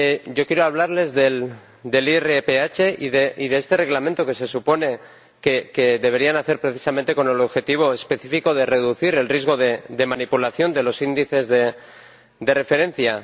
Yo quiero hablarles del IRPH y de este Reglamento, que se supone que debería nacer precisamente con el objetivo específico de reducir el riesgo de manipulación de los índices de referencia.